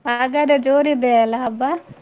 ಹಾಗಾದ್ರೆ ಜೋರಿದೆಯಲ್ಲಾ ಹಬ್ಬ?